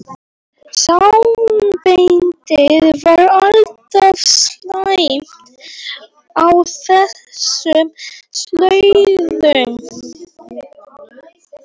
Sambandið var alltaf slæmt á þessum slóðum.